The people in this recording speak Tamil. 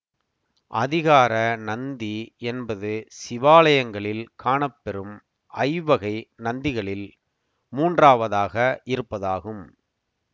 அதிகார நந்தி என்பது சிவாலயங்களில் காணப்பெறும் ஐவ்வகை நந்திகளில் மூன்றாவதாக இருப்பதாகும்